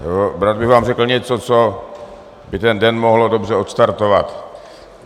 Rád bych vám řekl něco, co by ten den mohlo dobře odstartovat.